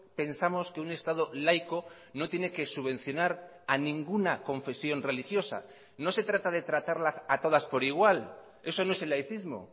pensamos que un estado laico no tiene que subvencionar a ninguna confesión religiosa no se trata de tratarlas a todas por igual eso no es el laicismo